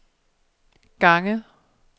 gange